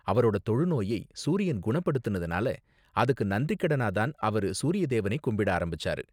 அவரோட தொழுநோயை சூரியன் குணப்படுத்துனதுனால, அதுக்கு நன்றிக்கடனா தான் அவரு சூரிய தேவனை கும்பிட ஆரம்பிச்சாரு.